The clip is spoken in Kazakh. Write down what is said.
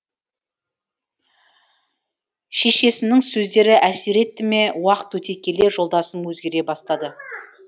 шешесінің сөздері әсер етті ме уақыт өте келе жолдасым өзгере бастады